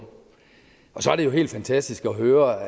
og så er det jo helt fantastisk at høre